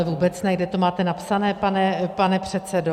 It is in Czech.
Ale vůbec ne, kde to máte napsané, pane předsedo?